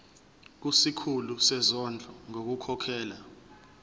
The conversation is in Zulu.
kusikhulu sezondlo ngokukhokhela